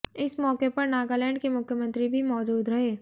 इस मौके पर नागालैंड के मुख्यमंत्री भी मौजूद रहे